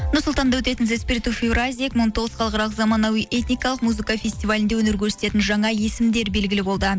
нұр сұлтанда өтетін евразия екі мың он тоғыз халықаралық замануи этникалық музыка фестивалінде өнер көрсететін жаңа есімдер белгілі болды